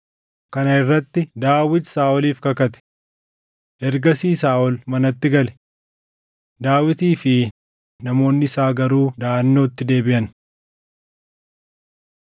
Kana irratti Daawit Saaʼoliif kakate. Ergasii Saaʼol manatti gale; Daawitii fi namoonni isaa garuu daʼannootti deebiʼan.